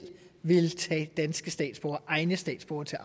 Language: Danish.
vil tage danske statsborgere egne statsborgere til